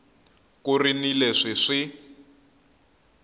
ku ri ni leswi swi